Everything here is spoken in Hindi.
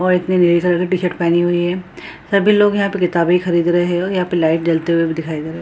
और एक ने नीले कलर की टी-शर्ट पहनी हुई है सभी लोग यहाँ पर किताबें खरीद रहे हैं और यहाँ पे लाइट जलते हुए भी दिखाई दे रहे हैं ।